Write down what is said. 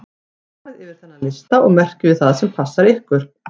Farið yfir þennan lista og merkið við það sem passar við ykkur.